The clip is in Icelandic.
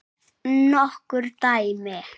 Nokkur dæmi